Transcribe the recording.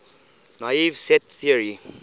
naive set theory